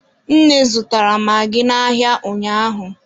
Nne zụtara magị n'ahịa ụnyaahụ.